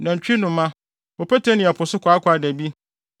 nantwinoma, opete ne ɛpo so kwaakwaadabi,